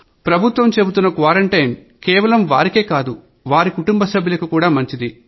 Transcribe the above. ప్రభుత్వం చెబుతున్న క్వారంటైన్ కేవలం వారికే కాదు వారి కుటుంబ సభ్యులకు కూడా మంచిది